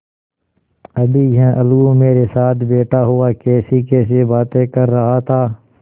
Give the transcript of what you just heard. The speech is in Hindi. अभी यह अलगू मेरे साथ बैठा हुआ कैसीकैसी बातें कर रहा था